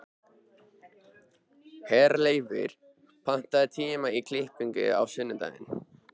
Herleifur, pantaðu tíma í klippingu á sunnudaginn.